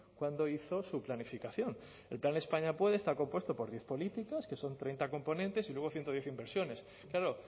cuando hizo su planificación el plan españa puede está compuesto por diez políticos que son treinta componentes y luego ciento diez inversiones claro